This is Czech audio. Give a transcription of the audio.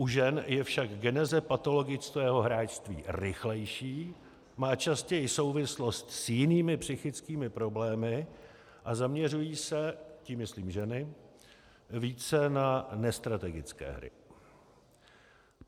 U žen je však geneze patologického hráčství rychlejší, má častěji souvislost s jinými psychickými problémy a zaměřují se - tím myslím ženy-- více na nestrategické hry.